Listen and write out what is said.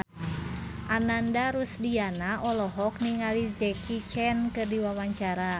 Ananda Rusdiana olohok ningali Jackie Chan keur diwawancara